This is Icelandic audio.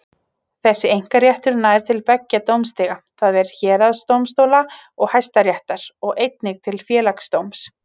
Þessi einkaréttur nær til beggja dómstiga, það er héraðsdómstóla og Hæstaréttar, og einnig til Félagsdóms.